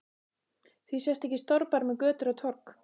Því sést ekki stórbær með götur og torg?